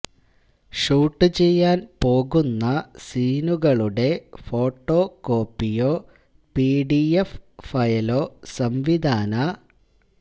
shoot ചെയ്യാൻ പോകുന്ന സീനുകളുടെ ഫോട്ടോകോപ്പിയോ പിഡിഎഫ് ഫയലോ സംവിധാന